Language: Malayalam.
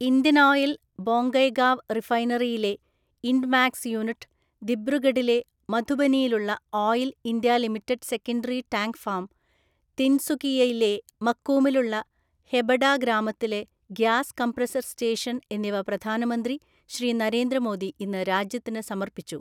ഇന്ത്യൻ ഓയിൽ ബൊംഗൈഗാവ് റിഫൈനറിയിലെ ഇൻഡ്മാക്സ് യൂണിറ്റ്, ദിബ്രുഗഢിലെ മധുബനിയിലുള്ള oil India limited secondary tank farm, തിൻസുകിയയിലെ മക്കൂമിലുള്ള ഹെബഡ ഗ്രാമത്തിലെ ഗ്യാസ് കംപ്രസര്‍ സ്റ്റേഷന്‍ എന്നിവ പ്രധാനമന്ത്രി ശ്രീ നരേന്ദ്ര മോദി ഇന്ന് രാജ്യത്തിന് സമർപ്പിച്ചു.